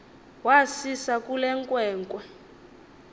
wasisa kule nkwenkwe